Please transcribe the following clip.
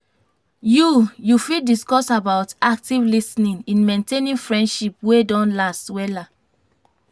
you you fit discuss about active lis ten ing in maintaining friendships wey don last wella.